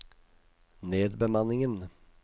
nedbemanningen